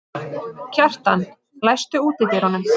Kjartan, læstu útidyrunum.